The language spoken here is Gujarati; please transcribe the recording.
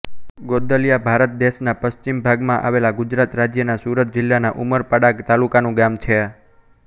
ગોંદલીયા ભારત દેશના પશ્ચિમ ભાગમાં આવેલા ગુજરાત રાજ્યના સુરત જિલ્લાના ઉમરપાડા તાલુકાનું ગામ છે